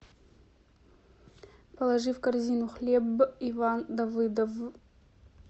положи в корзину хлебъ иван давыдовъ